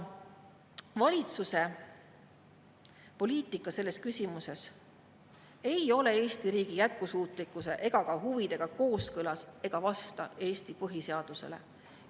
Valitsuse poliitika selles küsimuses ei ole Eesti riigi jätkusuutlikkuse ega ka huvidega kooskõlas ega vasta Eesti põhiseadusele.